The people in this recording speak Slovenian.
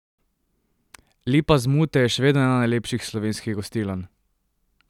Lipa z Mute je še vedno ena najlepših slovenskih gostiln!